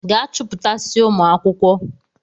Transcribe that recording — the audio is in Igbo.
Gaa chupụtasịa ụmụ akwụkwọ!